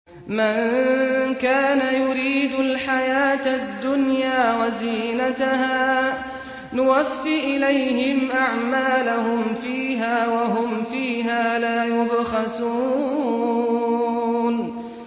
مَن كَانَ يُرِيدُ الْحَيَاةَ الدُّنْيَا وَزِينَتَهَا نُوَفِّ إِلَيْهِمْ أَعْمَالَهُمْ فِيهَا وَهُمْ فِيهَا لَا يُبْخَسُونَ